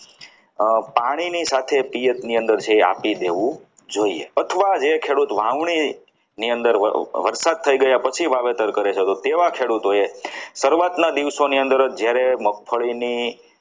પાણી ની સાથે પિયર ની અંદર જે છે એ આપી દેવું જોઈએ અથવા જે ખેડૂત વાવણી ની અંદર વરસાદ થઈ ગયા પછી પછી વાવેતર કરે છે તો તેવા ખેડૂતોએ શરૂઆતના દિવસોની અંદર જ જ્યારે